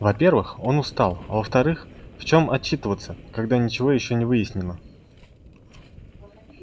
во-первых он устал а во-вторых в чём отчитываться когда ничего ещё не выяснено